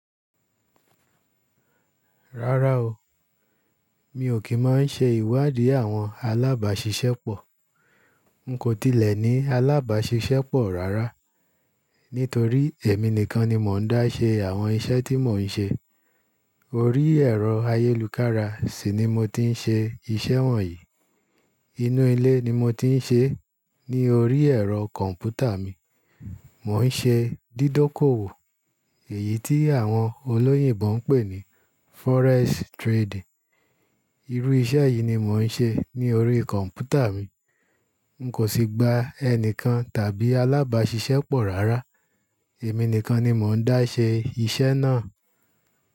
Rárá o, mi ò kí máa ń ṣe ìwádìí àwọn alábàáṣiṣẹ́ pọ̀. N kò tilẹ̀ ní alábàáṣiṣẹ́ pọ̀ rárá. Nítorí èmi nìkan ni mò ń dá ṣe àwọn iṣẹ́ tí mò ń ṣe. Orí ẹ̀rọ ayélukára sì ni mo ti ń ṣe iṣẹ́ wọ̀nyí. Inú ilé ni mo ti ń ṣe é ní orí ẹ̀rọ kọ̀ǹpútà mi. Mò ń ṣe dídókòwò, èyí tí àwọn olóyìnbo ń pè ní forex trading. Irú iṣẹ́ yìí ni mò ń ṣe ní orí kọ̀ǹpútà mi. N kò sì gba ẹnikẹ́ni tàbí alábàáṣiṣẹ́ pọ̀ rárá. Èmi nìkan ni mò ń dá ṣe iṣẹ́ náà.